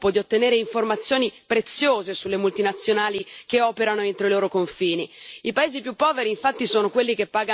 Questo permetterà anche ai paesi in via di sviluppo di ottenere informazioni preziose sulle multinazionali che operano entro i loro confini.